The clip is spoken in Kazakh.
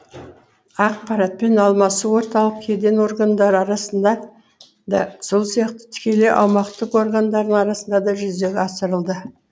ақпаратпен алмасу орталық кеден органдары арасында да сол сияқты тікелей аумақтық органдарлар арасында да жүзеге асырылды